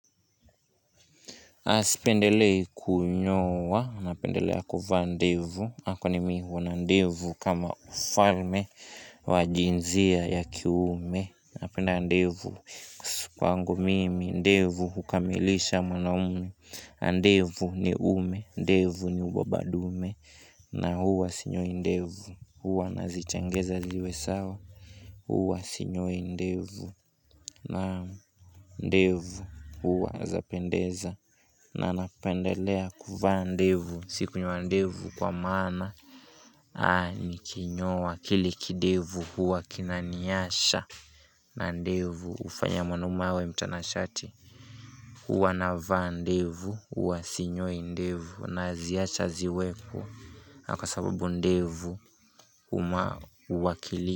Sipendelei kunyoa, napendelea kuvaa ndevu, kwani mi huwa na ndevu kama mfalme wa jinzia ya kiume Napenda ndevu kwangu mimi, ndevu hukamilisha mwanaume, ndevu ni uume, ndevu ni ubabadume na huwa sinyoi ndevu, huwa nazichengeza ziwe sawa, huwa sinyoi ndevu naam ndevu huwa zapendeza na napendelea kuvaa ndevu sikunyoa ndevu kwa maana nikinyoa kile kidevu huwa kinaniasha na ndevu hufanya mwanaume awe mtanashati huwa navaa ndevu huwa sinyoi ndevu naziacha ziweko kwa sababu ndevu huwakili.